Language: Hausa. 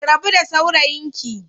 Ki rabu da saurayinki